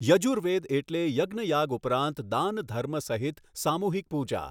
યજુર્વેદ એટલે યજ્ઞયાગ ઉપરાંત દાન ધર્મ સહિત સામૂહિક પૂજા.